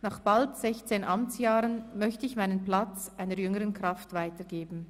Nach bald 16 Amtsjahren möchte ich meinen Platz einer jüngeren Kraft weitergeben.